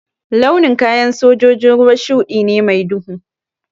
Launin kayan sojojin ruwa shuɗi ne mai duhu